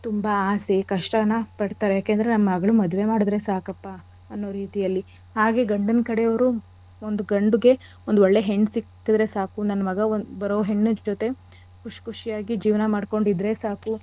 ತುಂಬಾ ಆಸೆ ಕಷ್ಟನ ಪಡ್ತಾರೆ ಯಾಕೆ ಅಂದ್ರೆ ನನ್ ಮಗಳ ಮದ್ವೆ ಮಾಡಿದ್ರೆ ಸಾಕಪ್ಪ ಅನ್ನೋ ರೀತಿಯಲ್ಲಿ. ಹಾಗೆ ಗಂಡಿನ್ ಕಡೆವ್ರು ಒಂದ್ ಗಂಡಿಗೆ ಒಂದ್ ಒಳ್ಳೆ ಹೆಣ್ ಸಿಕ್ಕಿದ್ರೆ ಸಾಕು ನನ್ ಮಗ ಬರೋ ಹೆಣ್ ಜೊತೆ ಖುಷ್ ಖುಷಿಯಾಗಿ ಜೀವನ ಮಾಡ್ಕೊಂಡಿದ್ರೆ ಸಾಕು.